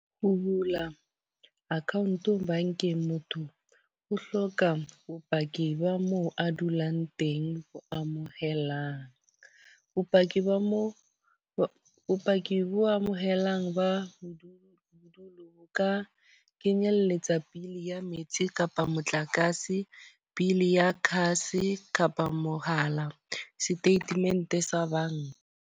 Ho bula account bankeng, motho o hloka bopaki ba moo a dulang teng. Ho amohela bopaki ba mo, bopaki bo amohelang ba ka kenyelletsa bill ya metsi kapa motlakase. Bill ya kgase kapa mohala. Statement sa banka.